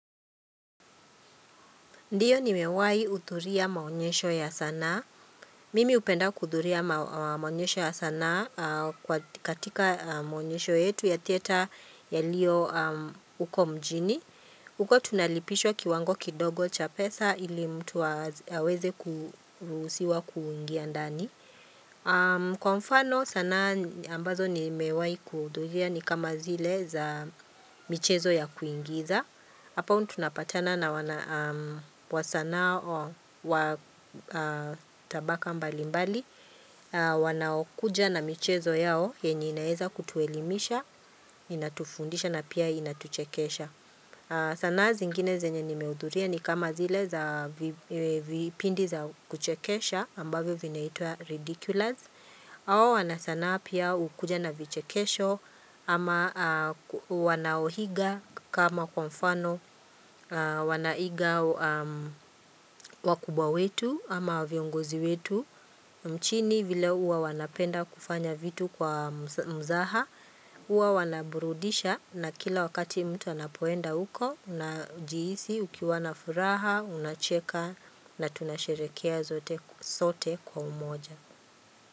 Ndio nimewahi hudhuria maonyesho ya sanaa. Mimi hupenda kuhudhuria maonyesho ya sanaa katika maonyesho yetu ya theatre yaliyo huko mjini. Huko tunalipishwa kiwango kidogo cha pesa ili mtu aweze kuruhusiwa kuingia ndani. Kwa mfano sanaa ambazo nimewahi kuhudhuria ni kama zile za michezo ya kuigiza. Hapa tunapatana na wana wa sanaa wa tabaka mbali mbali Wanaokuja na michezo yao yenye inaweza kutuelimisha Inatufundisha na pia inatuchekesha sanaa zingine zenye nimehudhuria ni kama zile za vipindi za kuchekesha ambavyo vinaitwa Ridiculous hao wanasanaa pia hukuja na vichekesho ama wanaoiga kama kwa mfano wanaiga wakubwa wetu ama viongozi wetu mchini vile huwa wanapenda kufanya vitu kwa mzaha Huwa wanaburudisha na kila wakati mtu anapoenda huko unajihisi ukiwa na furaha unacheka na tunasherehekea sote kwa umoja.